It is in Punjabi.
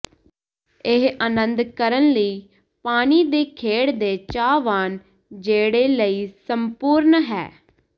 ਇਹ ਆਨੰਦ ਕਰਨ ਲਈ ਪਾਣੀ ਦੀ ਖੇਡ ਦੇ ਚਾਹਵਾਨ ਜਿਹੜੇ ਲਈ ਸੰਪੂਰਣ ਹੈ